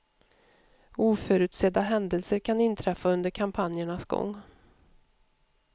Oförutsedda händelser kan inträffa under kampanjernas gång.